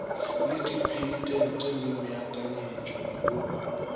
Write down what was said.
le dipheitente le meakanyetšo go